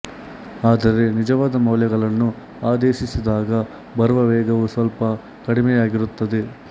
ಆದರೆ ನಿಜವಾದ ಮೌಲ್ಯಗಳನ್ನು ಆದೇಶಿಸಿದಾಗ ಬರುವ ವೇಗವು ಸ್ವಲ್ಪ ಕಡಿಮೆಯಾಗಿರುತ್ತದೆ